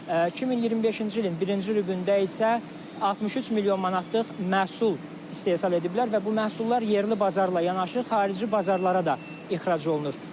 2025-ci ilin birinci rübündə isə 63 milyon manatlıq məhsul istehsal ediblər və bu məhsullar yerli bazarla yanaşı xarici bazarlara da ixrac olunur.